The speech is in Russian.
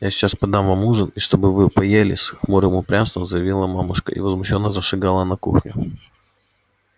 я сейчас подам вам ужин и чтоб вы поели с хмурым упрямством заявила мамушка и возмущённо зашагала на кухню